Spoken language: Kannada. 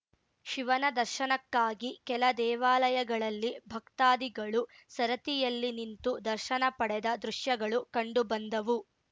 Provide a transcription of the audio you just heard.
ಶಿವನ ದರ್ಶನಕ್ಕಾಗಿ ಕೆಲ ದೇವಾಲಯಗಳಲ್ಲಿ ಭಕ್ತಾದಿಗಳು ಸರತಿಯಲ್ಲಿ ನಿಂತು ದರ್ಶನ ಪಡೆದ ದೃಶ್ಯಗಳು ಕಂಡುಬಂದವು